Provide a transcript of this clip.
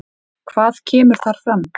Hvað kemur þar fram?